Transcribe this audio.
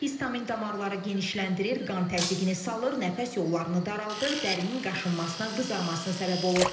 Histamin damarları genişləndirir, qan təzyiqini salır, nəfəs yollarını daraldır, dərinin qaşınmasına, qızarmasına səbəb olur.